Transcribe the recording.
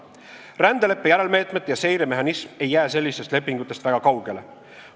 Rändeleppe järelmeetmete ja seire mehhanism ei jää sellistest lepingutest väga kaugele.